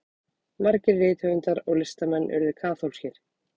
margir rithöfundar og listamenn urðu kaþólskir